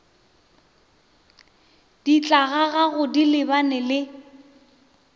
di tlogago di lebane le